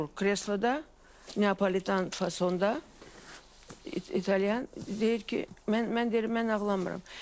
Oturur kresloda, Neapolitan fasonda, İtalyan deyir ki, mən deyirəm mən ağlamıram.